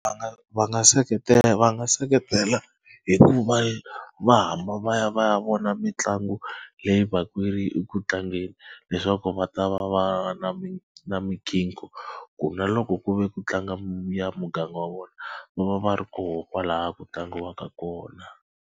Va nga va nga seketela va nga seketela hi ku va va hamba va ya va ya vona mitlangu leyi va ku yi ri ku tlangeni leswaku va ta va va na mi na ku na loko ku ve ku tlanga ya muganga wa vona va va va ri kona kwalaya ku tlangiwaka kona.